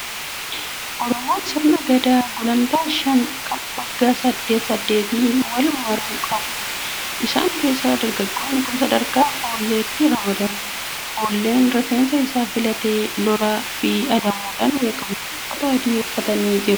Oromoon sirna gadaa gulantaa shan kan waggaa saddeet saddeetiin wal maru qabuudha. Isan keessaa dargaggoonni kun sadarkaa Foolleetti ramadamu. Foolleen rifeensa isaa filatee lolaa fi adamoodhaan beekama. Uffata adii uffatanii jiru.